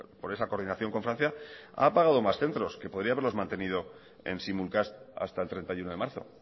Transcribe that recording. por esa coordinación con francia ha apagado más centros que podría haberlos mantenido en simulcast hasta el treinta y uno de marzo